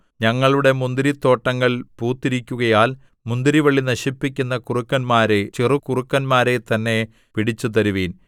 ഞങ്ങളുടെ മുന്തിരിത്തോട്ടങ്ങൾ പൂത്തിരിക്കുകയാൽ മുന്തിരിവള്ളി നശിപ്പിക്കുന്ന കുറുക്കന്മാരെ ചെറുകുറുക്കന്മാരെത്തന്നെ പിടിച്ചുതരുവിൻ